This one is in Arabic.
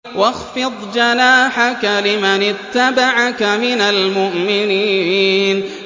وَاخْفِضْ جَنَاحَكَ لِمَنِ اتَّبَعَكَ مِنَ الْمُؤْمِنِينَ